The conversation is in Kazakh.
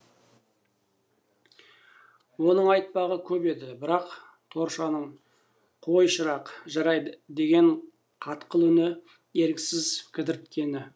оның айтпағы көп еді бірақ торшаның қой шырақ жарайды деген қатқыл үні еріксіз кідірткені